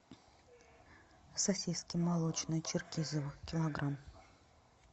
сосиски молочные черкизово килограмм